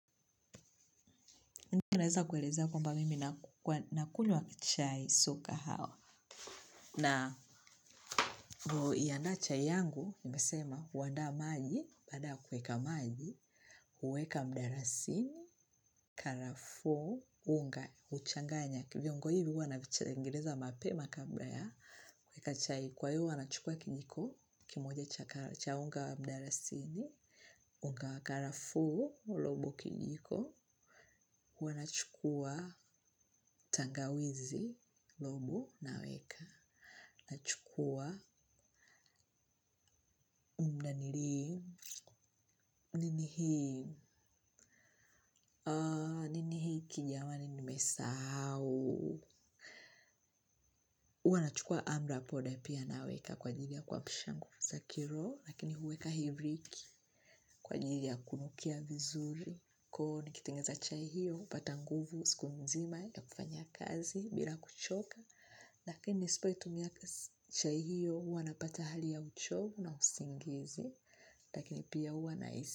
Naeza kuelezea kwamba mimi nakunywa chai, sio kahawa. Na vo iandaa chai yangu, nimesema, huandaa maji, baada ya kuweka maji, huweka mdarasini, karafuu, unga, huchanganya viongo hivi hua navichengeneza mapema, kabla ya, kuweka chai. Kwa hiyo, hua nahukua kijiko kimoja cha unga mdarasini, unga wa karafuu, robo kijiko huanachukua tangawizi, lobo, naweka. Nachukua umdanirimu, ninihimu, ninihiki, jamani nimesahau. Ua nachukua amra poda pia, naweka kwa jidi ya kwa pishangu. Zakiro, lakini huweka hiviki kwa ajili ya kunukia vizuri. Kuwa nikitengeza chai hiyo upata nguvu siku nzima ya kufanya kazi bila kuchoka. Lakini nisipo itumia chai hiyo huwa napata hali ya uchovu na usingizi. Lakini pia huwa nahisi.